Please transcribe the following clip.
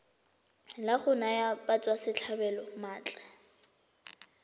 la go naya batswasetlhabelo maatla